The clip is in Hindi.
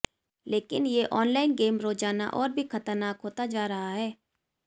लेकिन ये ऑनलाइन गेम रोजाना और भी खतरनाक होता जा रहा है